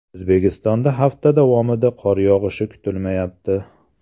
O‘zbekistonda hafta davomida qor yog‘ishi kutilmayapti.